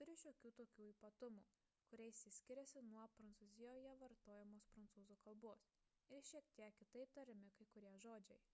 turi šiokių tokių ypatumų kuriais ji skiriasi nuo prancūzijoje vartojamos prancūzų k ir šiek tiek kitaip tariami kai kurie žodžiai